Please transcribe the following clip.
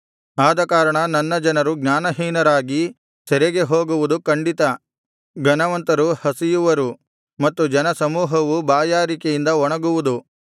ಆದಕಾರಣ ನನ್ನ ಜನರು ಜ್ಞಾನಹೀನರಾಗಿ ಸೆರೆಗೆ ಹೋಗುವುದು ಖಂಡಿತ ಘನವಂತರು ಹಸಿಯುವರು ಮತ್ತು ಜನಸಮೂಹವು ಬಾಯಾರಿಕೆಯಿಂದ ಒಣಗುವುದು